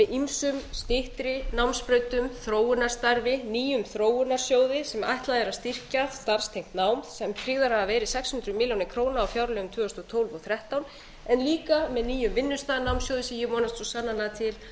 með ýmsum styttri námsbrautum þróunarstarfi nýjum þróunarsjóði sem ætlað er að styrkja starfstengt nám sem tryggðar hafa verið sex hundruð milljóna króna á fjárlögum tvö þúsund og tólf og tvö þúsund og þrettán en líka með nýjum vinnustaðanámssjóði sem ég vonast svo sannarlega til að